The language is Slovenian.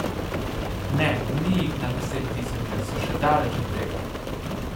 Ne, ni jih na desettisoče, so še daleč od tega!